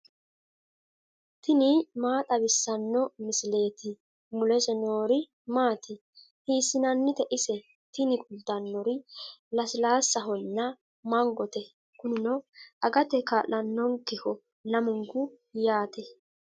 tini maa xawissanno misileeti ? mulese noori maati ? hiissinannite ise ? tini kultannori lasilaassahonna mangote. kunino agate kaa'lannonkeho lamunku yaate.